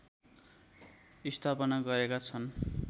स्थापना गरेका छन्